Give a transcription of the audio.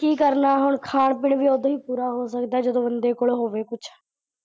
ਕੀ ਕਰਨਾ ਹੁਣ ਖਾਣ ਪੀਣ ਵਈ ਓਦੋਂ ਹੀ ਪੂਰਾ ਹੋ ਸਕਦਾ, ਜਦੋਂ ਬੰਦੇ ਕੋਲ ਹੋਵੇ ਕੁੱਝ।